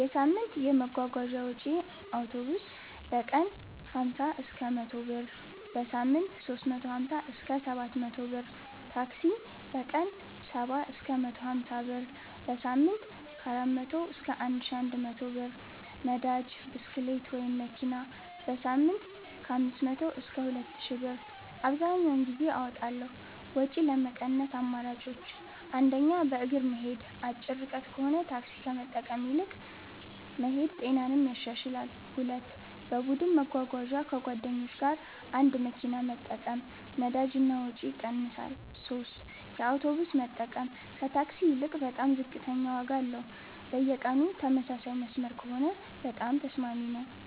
የሳምንት የመጓጓዣ ወጪዬ አውቶቡስ: በቀን 50–100 ብር → በሳምንት 350–700 ብር ታክሲ: በቀን 70–150 ብር → በሳምንት 400–1100+ ብር ነዳጅ (ብስክሌት/መኪና): በሳምንት 500–2000+ ብር አብዘሀኛውን ጊዜ አወጣለሁ ወጪ ለመቀነስ አማራጮች 1. በእግር መሄድ አጭር ርቀት ከሆነ ታክሲ ከመጠቀም ይልቅ መሄድ ጤናንም ያሻሽላል 2. በቡድን መጓጓዣ ከጓደኞች ጋር አንድ መኪና መጠቀም ነዳጅ እና ወጪ ይቀንሳል 3 የአውቶቡስ መጠቀም ከታክሲ ይልቅ በጣም ዝቅተኛ ዋጋ አለው በየቀኑ ተመሳሳይ መስመር ከሆነ በጣም ተስማሚ ነው